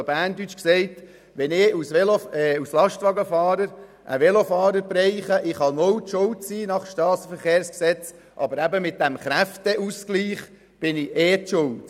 Wenn ich als Lastwagenfahrer einen Velofahrer treffe, kann ich nach SG gänzlich ohne Schuld sein, aber aufgrund dieses Kräfteausgleichs bin ich ohnehin schuldig.